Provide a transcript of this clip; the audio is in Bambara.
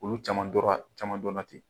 Olu caman dɔra ja caman dɔna ten